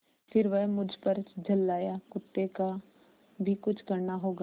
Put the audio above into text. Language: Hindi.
फिर वह मुझ पर झल्लाया कुत्ते का भी कुछ करना होगा